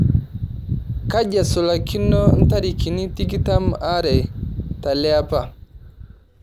kaji esulakino ntarikini tikitam aare teleapa